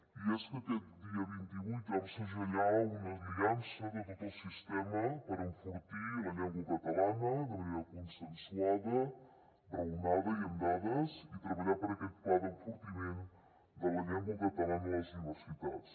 i és que aquest dia vint vuit vam segellar una aliança de tot el sistema per enfortir la llengua catalana de manera consensuada raonada i amb dades i treballar per aquest pla d’enfortiment de la llengua catalana a les universitats